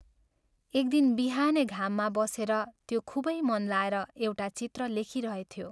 एक दिन बिहानै घाममा बसेर त्यो खूबै मन लाएर एउटा चित्र लेखिरहेथ्यो।